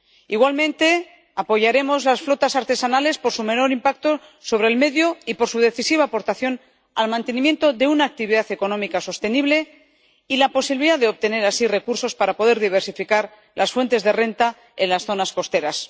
Igualmente, apoyaremos las flotas artesanales por su menor impacto sobre el medio y por su decisiva aportación al mantenimiento de una actividad económica sostenible y la posibilidad de obtener así recursos para poder diversificar las fuentes de renta en las zonas costeras.